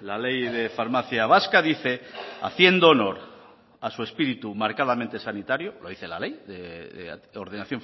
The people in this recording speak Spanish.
la ley de farmacia vasca dice haciendo honor a su espíritu marcadamente sanitario lo dice la ley de ordenación